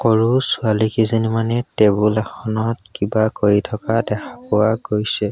সৰু ছোৱালী কেইজনীমানে টেবুল এখনত কিবা কৰি থকা দেখা পোৱা গৈছে।